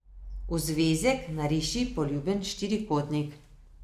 V zvezek nariši poljuben štirikotnik.